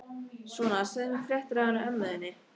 Svona, segðu mér fréttir af henni ömmu þinni.